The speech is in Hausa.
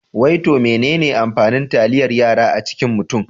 Wai to menene amfanin taliyar yara a cikin mutum?